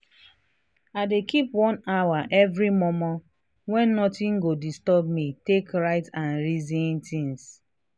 i dey keep one hour every mor mor wen nothing go disturb me take write and reason things.